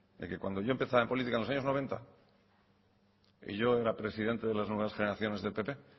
de que cuando yo empezaba en política en los años noventa yo era presidente de las nuevas generaciones del pp